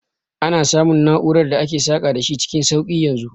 Ana samun na'urar da ake saka da shi cikin sauki yanzu